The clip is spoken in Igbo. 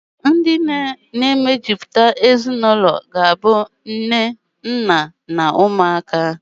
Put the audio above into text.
Ndi na-emejuputa ezinụlọ bụ nne, nna, na umuaka.